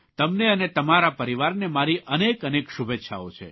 તમને અને તમારા પરિવારને મારી અનેક અનેક શુભેચ્છાઓ છે